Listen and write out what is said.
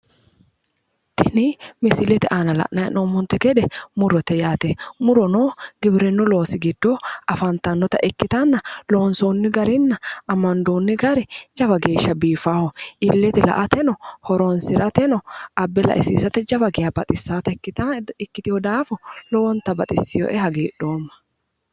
Tini misilete aana la'nayi hee'noommonte gede murote yaate murono giwirinnu loosi giddo afantanno ikkitanna loonsiinni garinna amandoonni gari jawa geeshsha biifaaho illete la'ateno horinsirateno abba laisiisateno jawa geehsha baxissawota ikkitewo daafo lowonta baxissewoe hagiidhoomma.